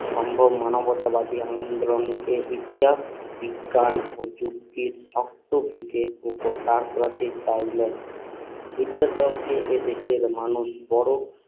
সম্ভব মানবতাবাদী ইতিহাস বিজ্ঞান ও যুক্তির শক্ত ভিতের উপর দাঁড় করাতে চাইলেন বিদ্যা সাগরকে এ দেশের মানুষ বড়